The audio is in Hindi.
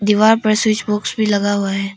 दीवार पर स्विच बॉक्स भी लगा हुआ है।